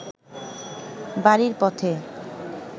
বাড়ির পথে